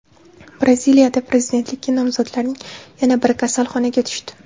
Braziliyada prezidentlikka nomzodlarning yana biri kasalxonaga tushdi.